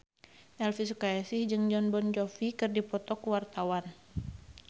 Elvy Sukaesih jeung Jon Bon Jovi keur dipoto ku wartawan